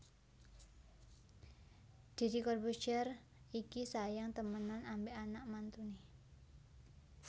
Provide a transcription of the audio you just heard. Dedy Corbuzier iki sayang temenan ambek anak mantune